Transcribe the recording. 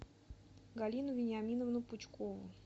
галину вениаминовну пучкову